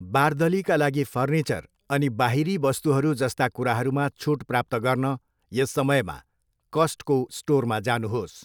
बार्दलीका लागि फर्निचर अनि बाहिरी वस्तुहरू जस्ता कुराहरूमा छुट प्राप्त गर्न यस समयमा कस्टको स्टोरमा जानुहोस्।